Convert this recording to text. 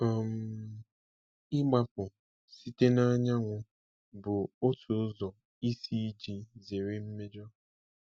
um Ịgbapụ site n’anyanwụ bụ otu ụzọ isi iji zere mmejọ.